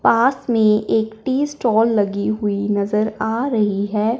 पास मे एक tea stall लगी हुई नज़र आ रही है।